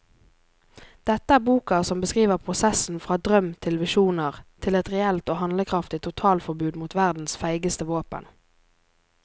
Dette er boka som beskriver prosessen fra drøm til visjoner til et reelt og handlekraftig totalforbud mot verdens feigeste våpen.